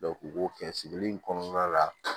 u b'o kɛ sigili in kɔnɔna la